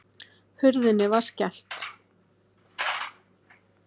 Hurðinni var skellt.